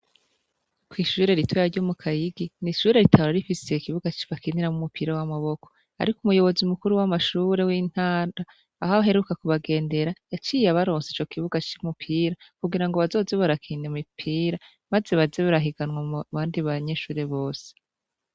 Kwishure ritoya ryomukayigi nishure ritahora rifise ikibuga bakiniramwo umupira wamaboko ariko umuyobozi mukuru wamashure yintara aho aheruka kubagendera yaciye abaronsa icokibuga cumupira kugira ngo bazohore barakina imipora maze baze barahiganwa mubandi banyeshure bose